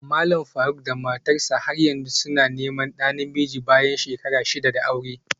Malam Faruk da matarsa ​​har yanzu suna neman ɗa namiji bayan shekara shida da aure